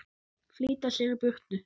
Flýta sér í burtu.